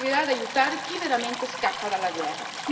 Non servirà ad aiutare chi veramente scappa dalla guerra.